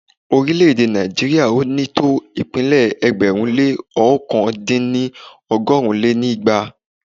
Orílẹ̀-èdè Nàìjíríà ò ní tó ìpínlẹ̀ ẹgbẹ̀rún lé ọ̀kan dín ní ọgọ́rùn lé ní igba